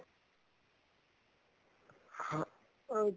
ਹਾਂ ਅਹ